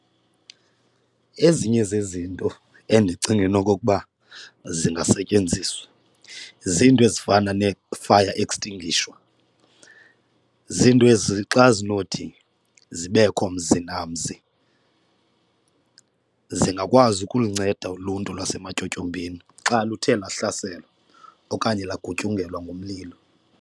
Ezinye zezinto endicinga enokokuba zingasetyenziswa ziinto ezifana nee-fire extinguisher, ziinto ezi xa zinowuthi zibekho mzi namzi zingakwazi ukulinceda uluntu lwasematyotyombeni xa luthe lahlaselwa okanye lagutyungelwa ngumlilo.